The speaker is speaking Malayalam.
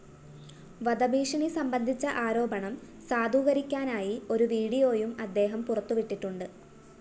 വധഭീഷണി സംബന്ധിച്ച ആരോപണം സാധൂകരിക്കാനായി ഒരു വീഡിയോയും അദ്ദേഹം പുറത്തുവിട്ടിട്ടുണ്ട്‌